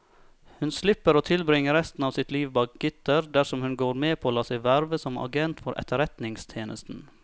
Hun slipper å tilbringe resten av sitt liv bak gitter dersom hun går med på å la seg verve som agent for etterretningstjenesten.